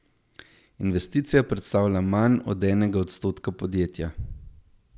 Investicija predstavlja manj od enega odstotka podjetja.